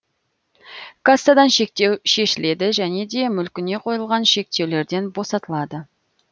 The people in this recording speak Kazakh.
кассадан шектеу шешіледі және де мүлкіне қойылған шектеулерден босатылады